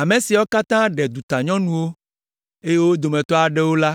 Ame siawo katã ɖe dutanyɔnuwo, eye wo dometɔ aɖewo la,